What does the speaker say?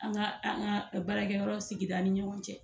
An ga an ga baarakɛ yɔrɔ sigida ni ɲɔgɔn cɛ